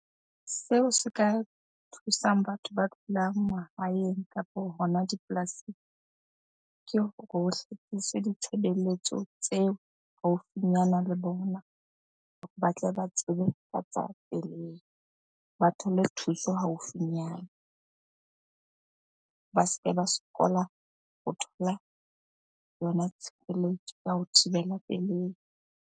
Seo se ka thusang batho ba dulang mahaeng kapo hona dipolasing, ke hore ho ditshebeletso tseo haufinyana le bona hore ba tle ba tsebe pelehi, ba thole thuso haufinyana. Ba se ke ba sokola ho thola yona tshireletso ya ho thibela pelehi.